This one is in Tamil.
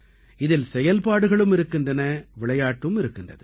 இதில் செயல்பாடுகளும் இருக்கின்றன விளையாட்டும் இருக்கின்றது